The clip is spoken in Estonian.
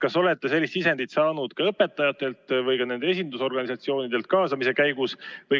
Kas olete ka sellist sisendit saanud õpetajatelt või nende esindusorganisatsioonidelt kaasamise käigus?